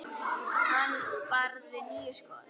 Hann varði níu skot.